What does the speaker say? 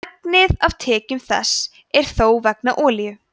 megnið af tekjum þess er þó vegna olíu